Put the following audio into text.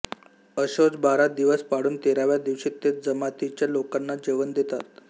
अशौच बारा दिवस पाळून तेराव्या दिवशी ते जमातीच्या लोकांना जेवण देतात